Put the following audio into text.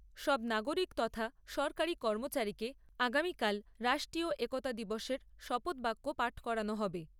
সব নাগরিক তথা সরকারী কর্মচারীকে আগামীকাল রাষ্ট্রীয় একতা দিবসের শপথবাক্য পাঠ করানো হবে।